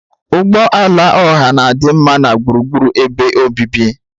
Ụgbọ ala ọha na-adị mma na gburugburu ebe obibi.